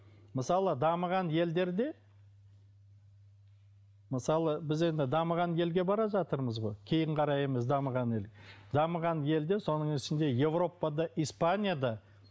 мысалы дамыған елдерде мысалы біз енді дамыған елге бара жатырмыз ғой кейін қараймыз дамыған ел дамыған елде соның ішінде европада испанияда